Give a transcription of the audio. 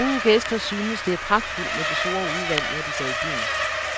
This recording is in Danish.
Mange gæster synes, det er pragtfuldt med det store udvalg, når de går i byen.